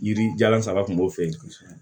Yiri jalan saba kun b'o fɛ yen kosɛbɛ